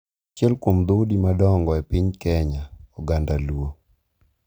Achiel kuom dhoudi madongo e piny Kenya, oganda Luo,